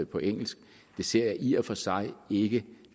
på engelsk ser jeg i og for sig ikke